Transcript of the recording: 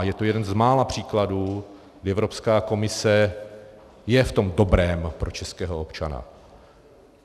A je to jeden z mála příkladů, kdy Evropská komise je v tom dobrém pro českého občana.